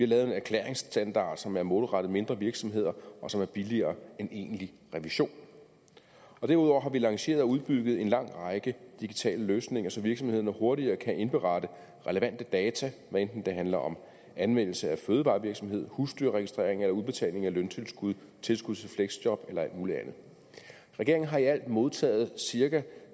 lavet en erklæringsstandard som er målrettet mindre virksomheder og som er billigere end egentlig revision derudover har vi lanceret og udbygget en lang række digitale løsninger så virksomhederne hurtigere kan indberette relevante data hvad enten det handler om anmeldelse af fødevarevirksomhed husdyrregistrering eller udbetaling af løntilskud tilskud til fleksjob eller alt muligt andet regeringen har i alt modtaget cirka